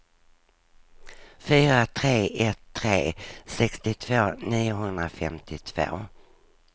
fyra tre ett tre sextiotvå niohundrafemtiotvå